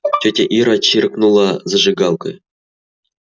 тётя ира чиркнула зажигалкой